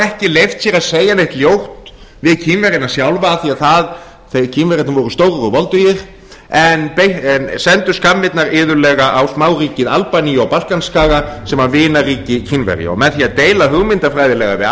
ekki leyft sér að segja neitt ljótt við kínverjana sjálfa af því að kínverjarnir voru stórir og voldugir en sendu skammirnar iðulega á smáríkið albaníu á balkanskaga sem var vinaríki kínverja og með því að deila hugmyndafræðilega við